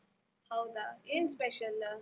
ಹೌದ ಏನ್ special?